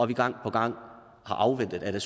vi gang på gang har afventet at der